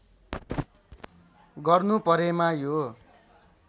गर्नु परेमा यो